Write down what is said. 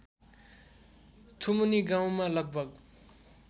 थुमनि गाउँमा लगभग